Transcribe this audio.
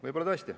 Võib-olla tõesti.